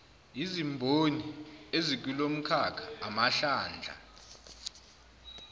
izimboni ezikulomkhakha amahlandla